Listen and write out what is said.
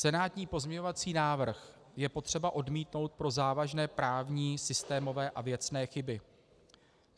"Senátní pozměňovací návrh je potřeba odmítnout pro závažné právní, systémové a věcné chyby.